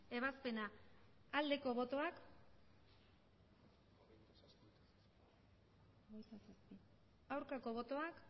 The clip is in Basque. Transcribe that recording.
ebazpena aldeko botoak aurkako botoak